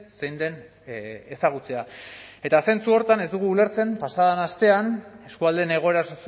zein den ezagutzea eta zentzu horretan ez dugu ulertzen pasa den astean eskualdeen egoera